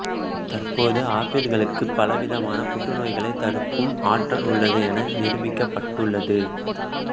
தற்போது ஆப்பிள்களுக்குப் பலவிதமான புற்று நோய்களைத் தடுக்கும் ஆற்றல் உள்ளது என நிரூபிக்கப்பட்டுள்ளது